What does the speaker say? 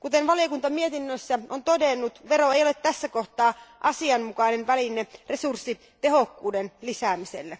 Kuten valiokunta mietinnössä on todennut, vero ei ole tässä tapauksessa asianmukainen väline resurssitehokkuuden lisäämiseen.